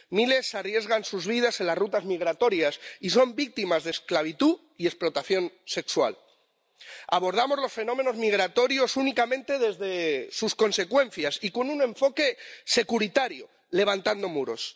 Miles de personas arriesgan sus vidas en las rutas migratorias y son víctimas de esclavitud y explotación sexual. Abordamos los fenómenos migratorios únicamente desde sus consecuencias y con un enfoque securitario, levantando muros.